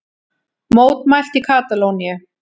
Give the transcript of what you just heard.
Mótmælt í Katalóníu